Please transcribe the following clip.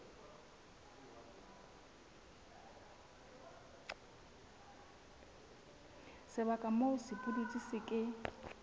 sebaka moo sepudutsi se ke